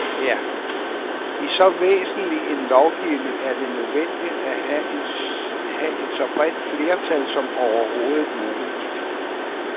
I så væsentlig en lovgivning er det nødvendigt at have et så bredt flertal som overhovedet muligt.